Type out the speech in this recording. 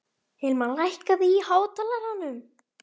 Já já, ekkert vafamál, fullyrti ég.